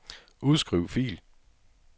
Udskriv fil.